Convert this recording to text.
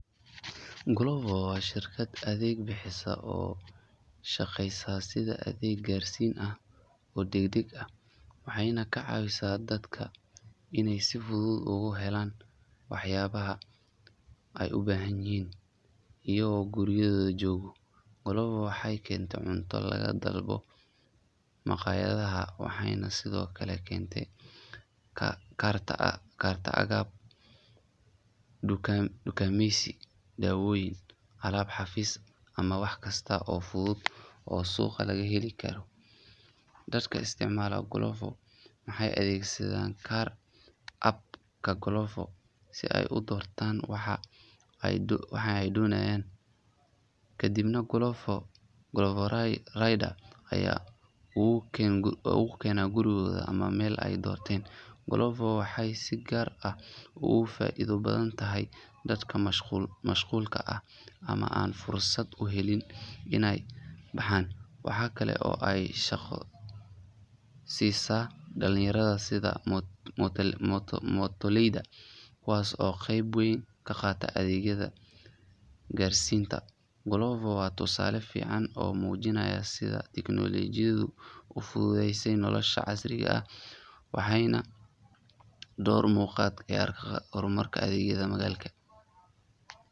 Glovo waa shirkad adeeg bixisa oo u shaqeysa sida adeeg gaarsiin ah oo degdeg ah, waxayna ka caawisaa dadka inay si fudud uga helaan waxyaabaha ay u baahanyihiin iyagoo gurigooda jooga. Glovo waxay keentaa cunto laga dalbado maqaayadaha, waxayna sidoo kale keeni kartaa agab dukaameysi, dawooyin, alaab xafiis ama wax kasta oo fudud oo suuqa laga heli karo. Dadka isticmaala Glovo waxay adeegsan karaan app-ka Glovo si ay u doortaan waxa ay doonayaan, kadibna Glovo rider ayaa ugu keena gurigooda ama meel ay doorteen. Glovo waxay si gaar ah ugu faa’iido badan tahay dadka mashquulka ah ama aan fursad u helin inay baxaan. Waxaa kale oo ay shaqo siisaa dhalinyarada sida mootoleyda kuwaas oo qayb weyn ka qaata adeegyada gaarsiinta. Glovo waa tusaale fiican oo muujinaya sida tiknoolajiyadu u fududeysay nolosha casriga ah, waxayna door muuqda ka ciyaartaa horumarka adeegyada magaalada.